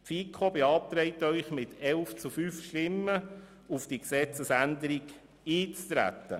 Die FiKo beantragt Ihnen mit 11 gegen 5 Stimmen auf die Gesetzesänderung einzutreten.